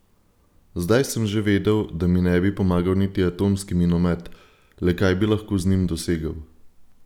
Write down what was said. Zdaj sem že vedel, da mi ne bi pomagal niti atomski minomet, le kaj bi lahko z njim dosegel?